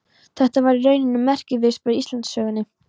Þetta var í rauninni merkisviðburður í Íslandssögunni.